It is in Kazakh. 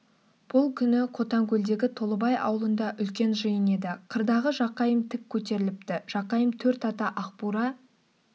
бұл күні қотанкөлдегі толыбай аулында үлкен жиын еді қырдағы жақайым тік көтеріліпті жақайым төрт ата ақбура